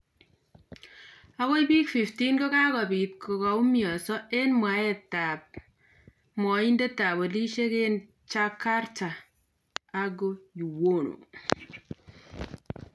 Agoi bik 15 kokakobit kokaumianso eng' mwaet ab mwaindet ab polisiek eng' Jakarta, Argo Yuwono.